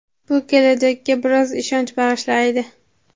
bu kelajakka biroz ishonch bag‘ishlaydi.